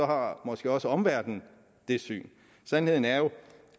har måske også omverdenen det syn sandheden er jo